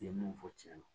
I ye mun fɔ tiɲɛ don